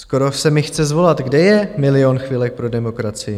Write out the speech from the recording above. Skoro se mi chce zvolat - kde je Milion chvilek pro demokracii?